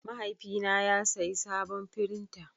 Mahaifina ya sayi sabon firinta.